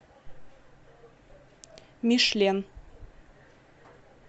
мишлен